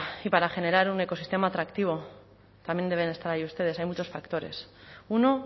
y para generar un ecosistema atractivo también deben estar ahí ustedes hay muchos factores uno